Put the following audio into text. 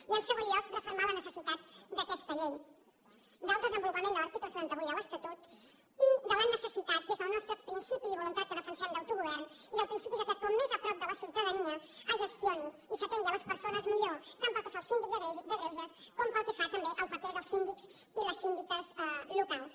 i en segon lloc refermar la necessitat d’aquesta llei del desenvolupament de l’article setanta vuit de l’estatut i de la necessitat des del nostre principi i voluntat que defensem d’autogovern i del principi que com més a prop de la ciutadania es gestioni i s’atengui les persones millor tant pel que fa la síndic de greuges com pel que fa també al paper dels síndics i les síndiques locals